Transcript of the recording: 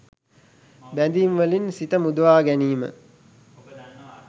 බැඳීම්වලින් සිත මුදවාගැනීම,